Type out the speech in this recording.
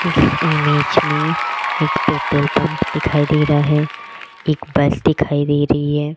इस इमेज में एक पेट्रोल पंप दिखाई दे रहा है एक बस दिखाई दे रही है।